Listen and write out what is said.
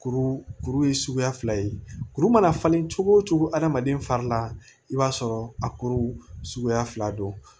Kuru kuru ye suguya fila ye kuru mana falen cogo o cogo adamaden fari la i b'a sɔrɔ a kuru suguya fila don